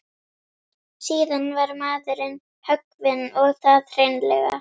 Síðan var maðurinn höggvinn og það hreinlega.